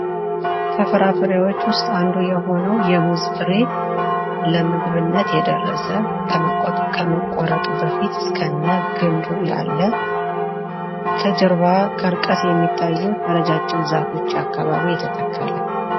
ከፍራፍሬዎች ውስጥ አንዱ የሆነው የሙዝ ፍሬ ለምግብነት የደረሰ ከመቆረጡ በፊት እስከነግዱ ያለ ከጀርባ በሚታዩት እረጃጅም ዛፎች አካባቢ የተተከለ።